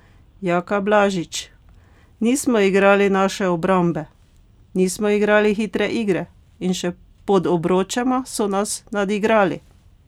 Jaka Blažič: "Nismo igrali naše obrambe, nismo igrali hitre igre in še pod obročema so nas nadigrali.